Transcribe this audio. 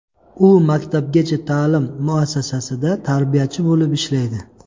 U maktabgacha ta’lim muassasasida tarbiyachi bo‘lib ishlaydi.